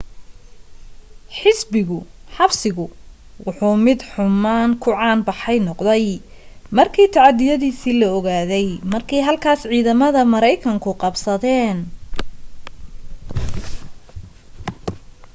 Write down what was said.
xabsigu wuxuu mid xumaan ku caan baxay noqday markii tacadiyadiisii la ogaaday markii halkaas ciidamada maraykanku qabsadeen